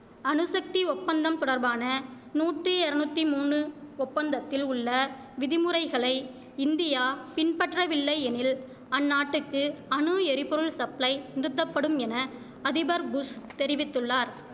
அணுசக்தி ஒப்பந்தம் தொடர்பான நூற்றி எரநுத்தி மூனு ஒப்பந்தத்தில் உள்ள விதிமுறைகளை இந்தியா பின்பற்றவில்லை எனில் அந்நாட்டுக்கு அணு எரிபொருள் சப்ளை நிறுத்தப்படும் என அதிபர் புஷ் தெரிவித்துள்ளார்